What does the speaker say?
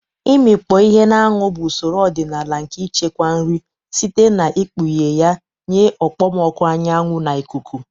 Ịmikpọ ihe na anwụ bụ usoro ọdịnala nke ichekwa nri site n'ikpughe ya nye okpomọkụ anyanwu na ikuku.